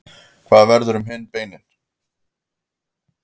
hvað verður um hin beinin